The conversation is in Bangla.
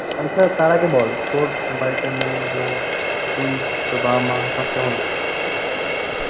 তার আগে বল তোর বাড়িতে মেয়ে, বউ, তুই তোর বাবা, মা সব কেমন আছে?